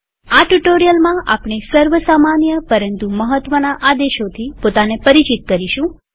આ ટ્યુ્ટોરીઅલમાં આપણે સર્વ સામાન્ય પરંતુ મહત્વના આદેશોથી પોતાને પરિચિત કરીશું